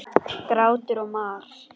Grátur og mar.